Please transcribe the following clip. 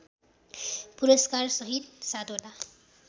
पुरस्कारसहित सात वटा